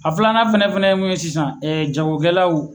A filanan fana fana ye min ye sisan ɛ jagokɛlaw